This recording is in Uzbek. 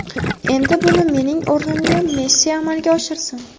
Endi buni mening o‘rnimga Messi amalga oshirsin.